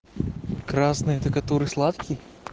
красный это который сладкий